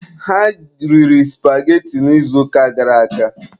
Ha riri supageti n'izuụka gara aga.